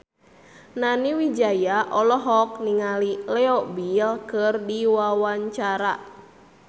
Nani Wijaya olohok ningali Leo Bill keur diwawancara